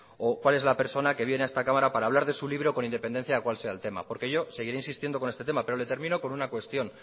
o cuál es la persona que viene a esta cámara para hablar de su libro con independencia de cuál sea el tema porque yo seguiré insistiendo con este tema pero le termino con una cuestión